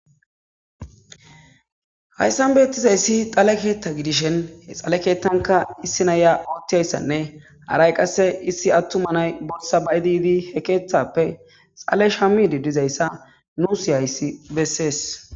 Hayssan beettizayssi xale keetta gidishen he xale keettanka issi naya oottiyayssanne haray qasse issi attumanay bossa baydiidi he keeththappe xale shamidi dizayssa nuusihayssi bessees.